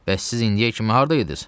Bəs siz indiyə kimi harda idiz?